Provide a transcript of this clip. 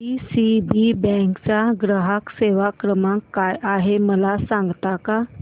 DCB bank चा ग्राहक सेवा क्रमांक काय आहे मला सांगता का